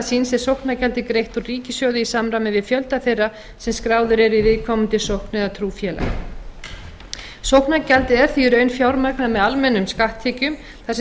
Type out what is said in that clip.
síns er sóknargjaldið greitt úr ríkissjóði í samræmi við fjölda þeirra sem skráðir eru í viðkomandi sókn eða trúfélag sóknargjaldið er því í raun fjármagnað með almennum skatttekjum þar sem það